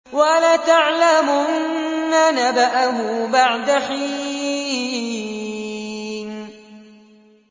وَلَتَعْلَمُنَّ نَبَأَهُ بَعْدَ حِينٍ